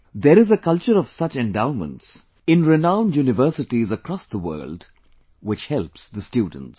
There is a culture of such endowments inrenowned universities across the world, which helps the students